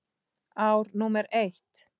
Ár númer eitt.